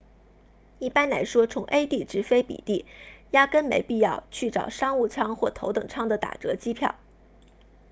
一般来说从 a 地直飞 b 地压根没必要去找商务舱或头等舱的打折机票